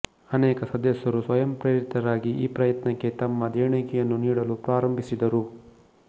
ಅನೇಕ ಸದಸ್ಯರು ಸ್ವಯಂ ಪ್ರೇರಿತರಾಗಿ ಈ ಪ್ರಯತ್ನಕ್ಕೆ ತಮ್ಮ ದೇಣಿಗೆಯನ್ನು ನೀಡಲು ಪ್ರಾರಂಭಿಸಿದರು